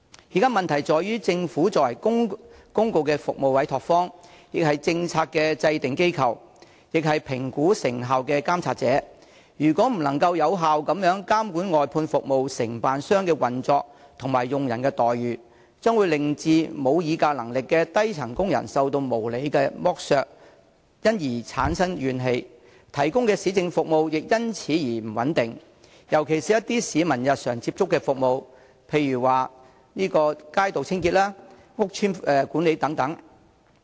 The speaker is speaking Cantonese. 現時的問題在於政府作為公共服務的委託方，亦是制訂政策的機構和評估成效的監察者，如果未能有效監管外判服務承辦商的運作及其僱員的待遇，將會令無議價能力的基層工人受到無理剝削而產生怨氣，他們提供的市政服務亦因此變得不穩定，尤其是一些市民日常所接觸的服務，例如街道清潔和屋邨管理等。